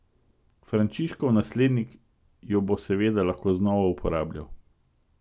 Frančiškov naslednik jo bo seveda lahko znova uporabljal.